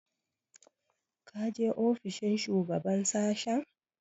Ka je ofishin shugaban sashen?